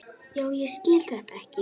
Já, ég skil þetta ekki.